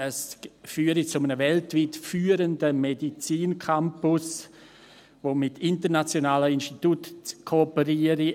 Es führe zu einem weltweit führenden Medizincampus, der mit internationalen Instituten kooperiere;